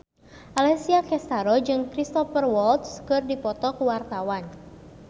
Alessia Cestaro jeung Cristhoper Waltz keur dipoto ku wartawan